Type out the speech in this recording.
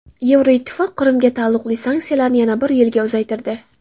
Yevroittifoq Qrimga taalluqli sanksiyalarni yana bir yilga uzaytirdi.